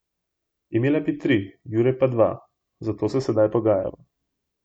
Imela bi tri, Jure pa dva, zato se zdaj pogajava.